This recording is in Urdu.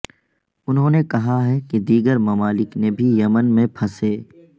انہوں نے کہا کہ دیگر ممالک نے بھی یمن میں پھنسے ا